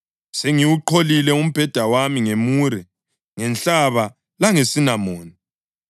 Sengiwuqholile umbheda wami ngemure, ngenhlaba langesinamoni.